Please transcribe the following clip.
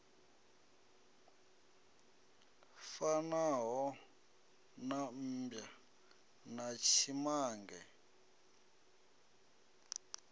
fanaho na mmbwa na tshimange